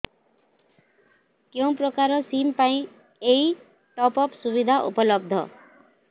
କେଉଁ ପ୍ରକାର ସିମ୍ ପାଇଁ ଏଇ ଟପ୍ଅପ୍ ସୁବିଧା ଉପଲବ୍ଧ